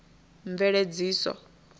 mveledziso